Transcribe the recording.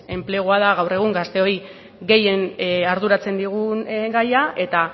enplegua da gaur egun gazteoi gehien arduratzen digun gaia eta